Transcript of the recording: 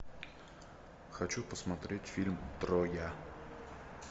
хочу посмотреть фильм троя